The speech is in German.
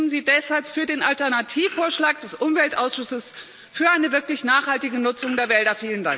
Bitte stimmen Sie deshalb für den Alternativvorschlag des Umweltausschusses für eine wirklich nachhaltige Nutzung der Wälder!